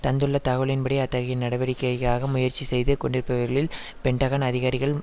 தந்துள்ள தகவலின்படி அத்தகைய நடவடிக்கைக்காக முயற்சி செய்து கொண்டிருப்பவர்களில் பென்டகன் அதிகாரிகள்